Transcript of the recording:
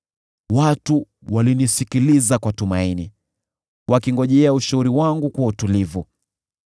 “Watu walinisikiliza kwa tumaini, wakingojea ushauri wangu kwa utulivu.